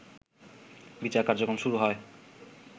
বিচার কার্যক্রম শুরু হয়